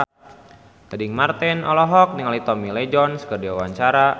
Gading Marten olohok ningali Tommy Lee Jones keur diwawancara